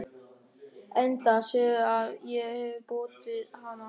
Enda sérðu að ég hefi brotið hana.